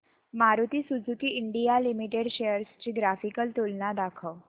Maruti Suzuki India Limited shares ची graphical तुलना दाखव